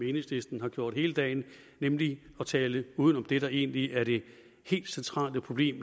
enhedslisten har gjort hele dagen nemlig at tale udenom det der egentlig er det helt centrale problem